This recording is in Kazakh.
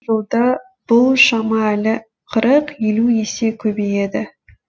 жылда бұл шама әлі қырық елу есе көбейеді